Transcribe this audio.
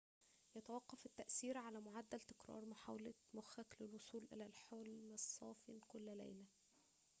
يتوقّف التأثير على معدّل تكرار محاولة مخّك للوصول إلى الحُلم الصافِ كل ليلة